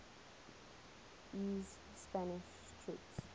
ii's spanish troops